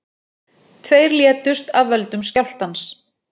Tveir létust af völdum skjálftans